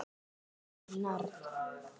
Undir álögum Norn!